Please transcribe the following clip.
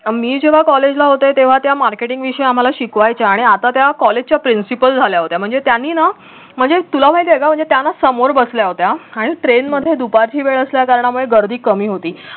मी जेव्हा कॉलेजला होते तेव्हा त्या marketing विषय आम्हाला शिकवायच्या आणि आता त्या कॉलेजच्या principal झाल्या होत्या म्हणजे त्यांनी ना म्हणजे तुला माहित आहे का म्हणजे त्या ना समोर बसल्या होत्या आणि train मध्ये दुपारची वेळ असल्या कारणाने गर्दी कमी होती